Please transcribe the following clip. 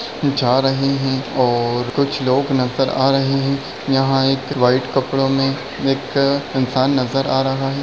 जा रहे है और कुछ लोग नज़र आ रहे है यहाँ एक व्हाइट कपड़ो में एक इंसान नज़र आ रहा है।